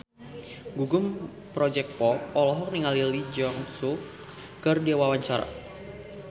Gugum Project Pop olohok ningali Lee Jeong Suk keur diwawancara